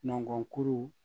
Nɔnkɔnkuru